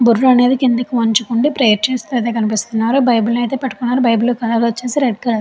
బుర్ర అనేది కిందకి వంచుకుని ప్రేయర్ చేస్తున్నట్టు కనిపిస్తున్నారు. బైబిల్ అయితే పట్టుకున్నారు. బైబిల్ కలర్ వచ్చేసి రెడ్ కలర్ .